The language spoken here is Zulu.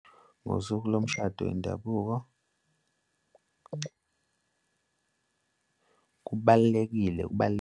Ngosuku lomshado wendabuko, kubalulekile .